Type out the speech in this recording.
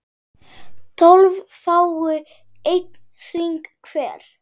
tólf fái einn hring hver